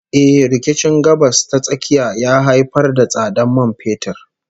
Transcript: Eh, rikicin Gabas ta Tsakiya ya haifar da tsadar man fetur